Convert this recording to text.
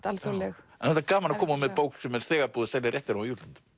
alþjóðleg gaman að koma með bók sem þegar búið að selja réttinn á